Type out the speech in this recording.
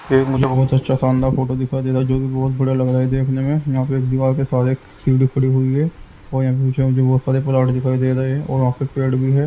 ये मुझे बहुत अच्छा शानदार फोटो दिखाई दे रहा है जो कि बहुत बढ़िया लग रहा है देखने में यहाँ पे एक दीवार के सहारे सीढ़ी खड़ी हुई है और यहाँ पीछे मुझे बहुत सारे प्लांट दिखाई दे रहे हैं और वहाँ से पेड़ भी है।